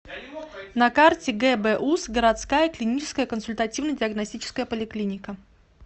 на карте гбуз городская клиническая консультативно диагностическая поликлиника